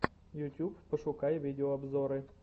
ютюб пошукай видеообзоры